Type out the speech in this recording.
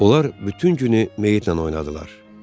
Onlar bütün günü meyitlə oynadılar.